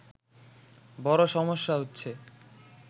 বড়ো সমস্যা হচ্ছে